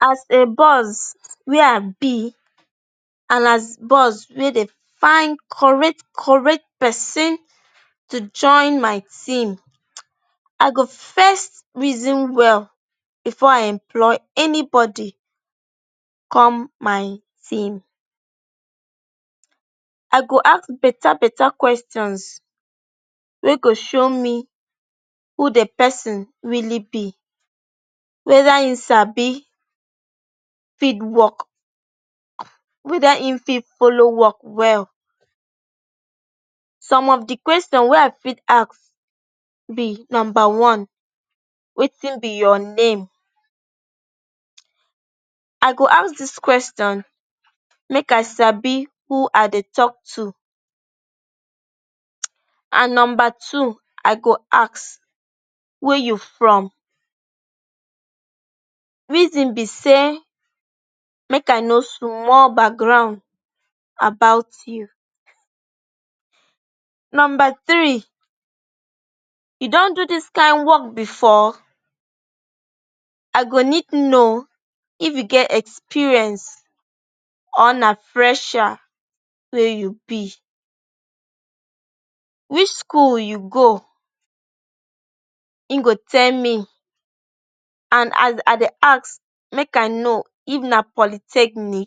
As a boss wey i be and as boss wey dey find correct correct pesin to join my team, i go first reason well bifor i employ anybody come my team. I go ask betta betta questions wey go show who di pesin really be, weda im sabi wok, weda im fit follow wok well. Some of di question wey i fit ask be wetin be your name? I go ask dis question make i sabi who i dey tok to. I go ask wia you from, reason be say make i know small background about you. You don do dis kain wok bifor? I go need know if you get experience or na fresher wey you be. Which school you go? Him go tell me and as i dey ask make i know if na polytechnic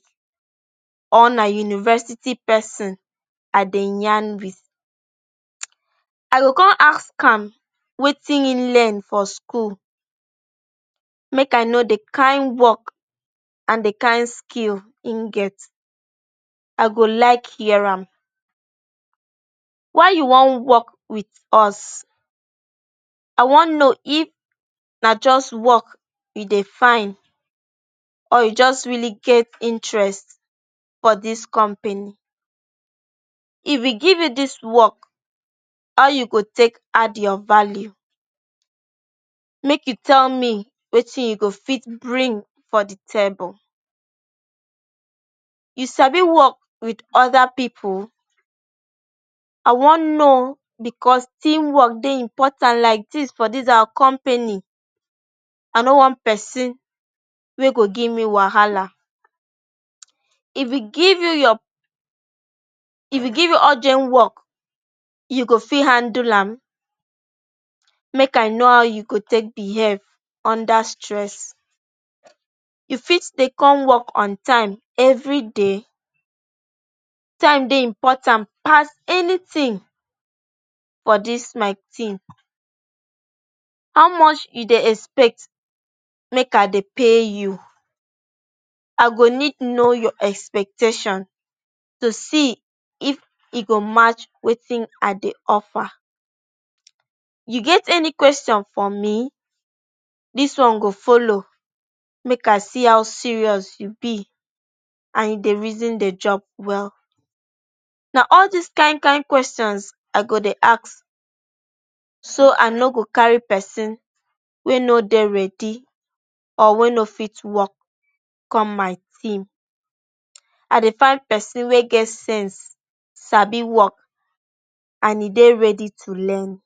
or na university pesin i dey yarn wit. I go come ask am wetin im learn for school make i know di kain wok and di kain skill him get. I go like hear am. Why you wan wok wit us? I wan know if na just wok e dey fine or you just really get interest for dis company. If we give you dis wok, how you go take add your value? Make im tell me wetin you go fit bring for di table. You sabi wok wit oda pipu? I wan know bicos team wok dey important like dis for dis our company. I no wan pesin wey go give me wahala. If we give you urgent wok, you go fit handle am? Make i know how you go take behave under stress. You fit stay come wok on time evri day? Time dey important pass anytin for dis my team. How much you dey expect make i dey pay you? I go need know your expectation to see if e go match wetin i dey offer. You get any question for me? Dis one go follow make i see how serious e be and if you dey reason dey jop well. Na all dis kain kain questions i go dey ask so i no go carry pesin wey no dey ready or wey no fit wok come my team. I dey find pesin wey get sense, sabi wok and e dey ready to learn.